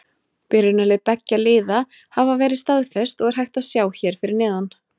Byrjunarlið beggja liða hafa verið staðfest og er hægt að sjá hér fyrir neðan.